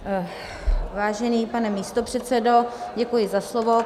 Vážený pane místopředsedo, děkuji za slovo.